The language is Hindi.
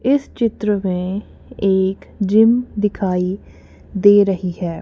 इस चित्र में एक जिम दिखाई दे रही है।